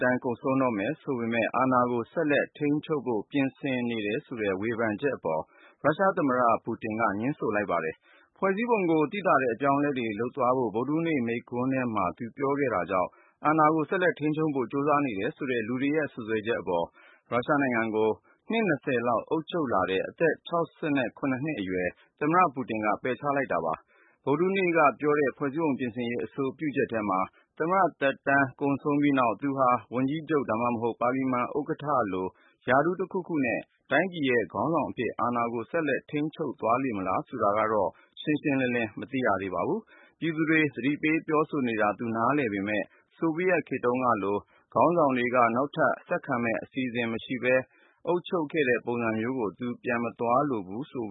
န်ဆုံးတော့မယ် ဆိုပေမယ့် အာဏာကို ဆက်လက်ထိန်းချုပ်ဖို့ ပြင်ဆင်နေတယ်ဆိုတဲ့ ဝေဖန်မှုတွေအပေါ် ရုရှားသမ္မတ Vladimir Putin က ငြင်းဆိုလိုက်ပါတယ်။ ဖွဲ့စည်းပုံကို သိသာတဲ့ အပြောင်းအလဲတွေ လုပ်သွားဖို့ ဗုဒ္ဓဟူးနေ့ မိန့်ခွန်းထဲမှာ သူပြောဆိုခဲ့တာကြောင့် အာဏာကို ဆက်လက်ထိန်းချုပ်ဖို့ ကြိုးစားနေတယ်ဆိုတဲ့ လူတွေရဲ့ စွပ်စွဲချက်အပေါ် ရုရှားနိုင်ငံကို နှစ် ၂၀ လောက် အုပ်ချုပ်လာတဲ့ အသက် ၆၇ နှစ်အရွယ် သမ္မတ Putin က ပယ်ချလိုက်တာပါ။ ဗုဒ္ဓဟူးနေ့ကပြောတဲ့ ဖွ့ဲစည်းပုံပြင်ဆင်ရေး အဆိုပြုချက်ထဲမှာ သမ္မတသက်တမ်း ကုန်ဆုံးပြီးနောက် သူဟာ ဝန်ကြီးချုပ် ဒါမှမဟုတ် ပါလီမန်ဥက္ကဋ္ဌလို ရာထူးတခုခုနဲ့ တိုင်းပြည်ရဲ့ ခေါင်းဆောင်အဖြစ် အာဏာကို ဆက်လက်ထိန်းချုပ်သွားမလား ဆိုတာကတော့ ရှင်းရှင်းလင်းလင်း မသိရသေးပါဘူး။ ပြည်သူတွေ သတိပေးပြောဆိုနေတာ သူနားလည်ပေမယ့် ဆိုဗီယက်ခေတ်တုန်းကလို ခေါင်းဆောင်တွေက နောက်ထပ် ဆက်ခံမယ့် အစီအစဉ်မရှိဘဲ အုပ်ချုပ်ခဲ့တဲ့ ပုံစံမျိုးကို သူ ပြန်မသွားလိုဘူးလို့